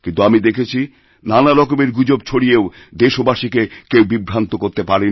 কিন্তু আমি দেখেছি নানা রকমের গুজব ছড়িয়েও দেশবাসীকে কেউ বিভ্রান্ত করতেপারেনি